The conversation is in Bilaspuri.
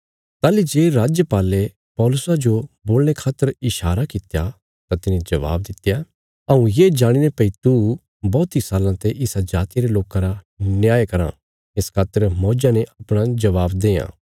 ताहली जे राजपाले पौलुसा जो बोलणे खातर ईशारा कित्या तां तिने जबाब दित्या हऊँ ये जाणीने भई तू बौहती साल्लां ते इसा जातिया रे लोकां रा न्याय कराँ इस खातर मौज्जा ने अपणा जबाब देआं